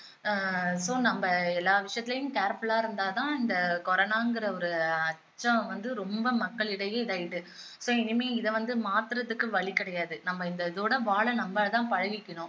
ஆஹ் so நம்ம எல்லா விஷயத்துலையும் careful ஆ இருந்தாதான் இந்த corona என்கிற ஒரு அச்சம் வந்து ரொம்ப மக்களிடையே இதாகிட்டு so இனிமே இதை வந்து மாத்தறத்துக்கு வழி கிடையாது நம்ம இந்த இதோட வாழ நம்மதான் பழகிக்கணும்